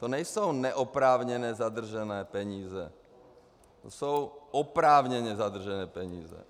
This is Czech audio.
To nejsou neoprávněně zadržené peníze, to jsou oprávněně zadržené peníze.